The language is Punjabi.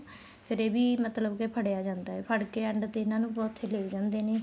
ਫ਼ੇਰ ਇਹ ਵੀ ਮਤਲਬ ਕੇ ਫੜਿਆ ਜਾਂਦਾ ਏ ਫੜਕੇ end ਤੇ ਇਹਨਾ ਨੂੰ ਉੱਥੇ ਲੇ ਜਾਂਦੇ ਨੇ